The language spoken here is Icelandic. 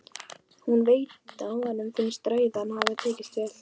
Hún veit að honum finnst ræðan hafa tekist vel.